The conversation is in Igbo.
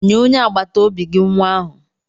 Nye onye agbata obi gị nwa ahụ.